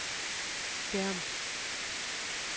skærm